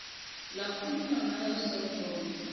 lakhuluma ngayo sonkondlo